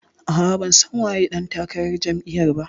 A'a, ban san waye ɗan takarar jam'iyar ba